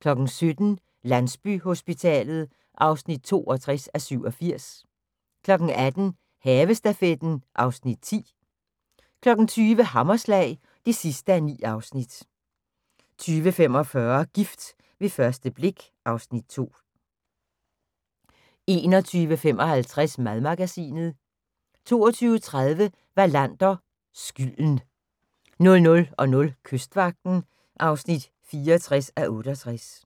17:00: Landsbyhospitalet (62:87) 18:00: Havestafetten (Afs. 10) 20:00: Hammerslag (9:9) 20:45: Gift ved første blik (Afs. 2) 21:55: Madmagasinet 22:30: Wallander: Skylden 00:00: Kystvagten (64:68)